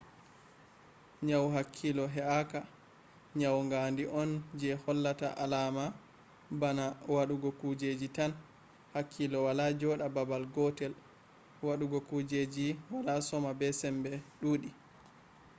nyawu hakkilo he’aka ” nyawu gandi on je hollata alama bana wudugo kujeji tan hakkilo wala joda babal gotel wadugo kujeji wala soma be sembe duudi’